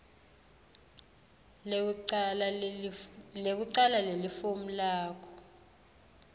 lekucala lelifomu lakho